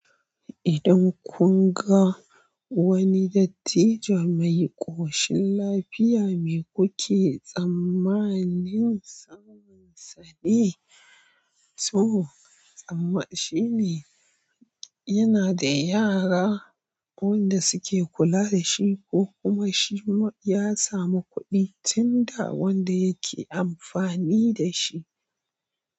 Idan kun ga wani dattijo mai ƙoshin lafiya, me kuke tsammanin sabonsa ne? To, tsammani shine yana da yara wanda suke kula da shi ko kuma shi ya samu kuɗi tun da wanda yake amfani da shi.